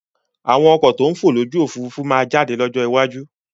Àwọn ọkọ̀ to ń fò lójú Òfurufú máa jáde ní ọjọ́ iwájú